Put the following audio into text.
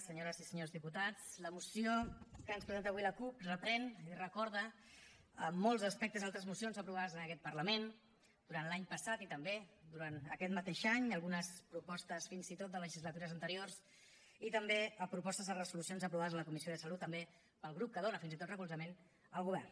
senyores i senyors diputats la moció que ens presenta avui la cup reprèn i recorda en molts aspectes altres mocions aprovades en aquest parlament durant l’any passat i també durant aquest mateix any algunes propostes fins i tot de legislatures anteriors i també propostes de resolucions aprovades a la comissió de salut també pel grup que dona fins i tot recolzament al govern